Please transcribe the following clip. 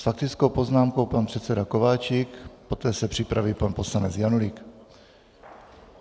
S faktickou poznámkou pan předseda Kováčik, poté se připraví pan poslanec Janulík.